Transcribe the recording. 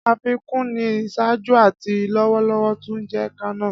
Afikun ni iṣaaju ati lọwọlọwọ tun jẹ kanna.